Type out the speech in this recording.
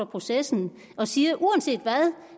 processen og siger uanset hvad